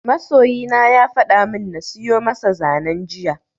Masoyina ya fada min na siyo masa zanen jiya